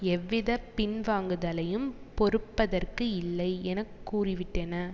எவ்வித பின் வாங்குதலையும் பொறுப்பதற்கு இல்லை என கூறிவிட்டன